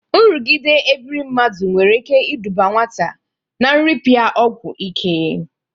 Nrụgide ebiri mmadụ nwere ike ịdụba nwata na nrịpịa ọgwọ ike.